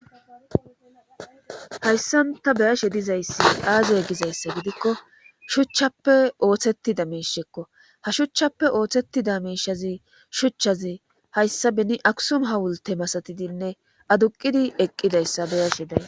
Hayssanta beyashe dizayssi aazeye gizayssa gidikko shuchchappe ooththettida miishekko ha shuchchappe ooththettida miishazi shuchchazi hayssa beni akusum hawulte masatidinne aduqidi eqqidayssa beyashe day.